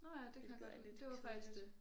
Hvilket er lidt kedeligt